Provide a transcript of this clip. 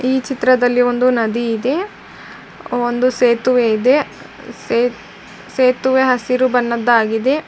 ಈ ಚಿತ್ರದಲ್ಲಿ ಒಂದು ನದಿ ಇದೆ ಒಂದು ಸೇತುವೆ ಇದೆ ಸೇತುವೆ ಹಸಿರು ಬಣ್ಣದಾಗಿದೆ.